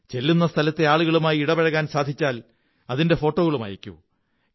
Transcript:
ചെല്ലുന്ന സ്ഥലത്തെ ആളുകളുമായി ഇടപഴകാൻ സാധിച്ചാൽ അതിന്റെ ഫോട്ടോകളും അയയ്ക്കൂ